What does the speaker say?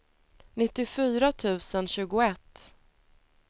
nittiofyra tusen tjugoett